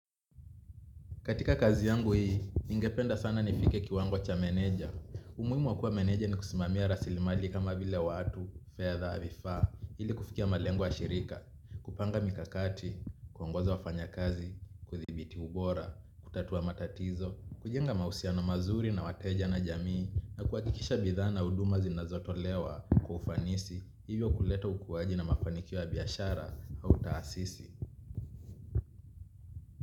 Katika kazi yangu hii, ningependa sana nifike kiwango cha meneja. Umuhimu wa kuwa meneja ni kusimamia rasili mali kama vile watu, fedha, vifaa, ili kufikia malengo ya shirika. Kupanga mikakati, kuongoza wafanya kazi, kuthibiti ubora, kutatua matatizo, kujenga mahusiano mazuri na wateja na jamii, na kuhakikisha bidhaa na huduma zinazotolewa kwa ufanisi, hivyo kuleta ukuwaji na mafanikio ya biashara, au taasisi.